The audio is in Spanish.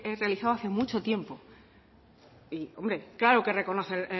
realizado hace mucho tiempo hombre claro que reconoce